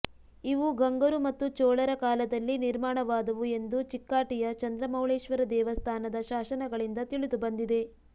ಇವು ಗಂಗರು ಮತ್ತು ಚೋಳರ ಕಾಲದಲ್ಲಿ ನಿರ್ಮಾಣವಾದವು ಎಂದು ಚಿಕ್ಕಾಟಿಯ ಚಂದ್ರಮೌಳೇಶ್ವರ ದೇವಸ್ಥಾನದ ಶಾಸನಗಳಿಂದ ತಿಳಿದುಬಂದಿದೆ